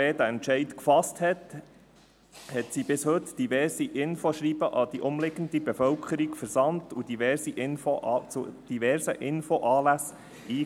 Seit die BKW diesen Entscheid gefasst hat, versandte sie bis heute diverse Infoschreiben an die umliegende Bevölkerung und lud zu diversen Infoanlässen ein.